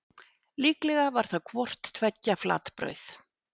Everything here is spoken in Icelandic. Líklega var það hvort tveggja flatbrauð.